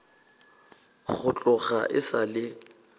go tloga e sa le